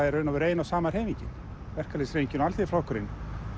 í raun og veru ein og sama hreyfingin verkalýðshreyfingin og Alþýðuflokkurinn